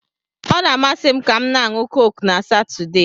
Ọ na-amasị m kam na-anu Coke na Satọde